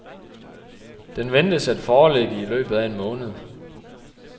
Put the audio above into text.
Den ventes at foreligge i løbet af en måned.